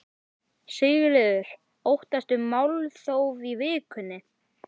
Sigríður: Óttastu málþóf í vikunni?